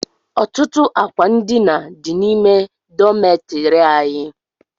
Ọtụtụ àkwà ndina dị n'ime dọmetiri anyị